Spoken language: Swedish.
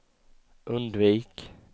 undvik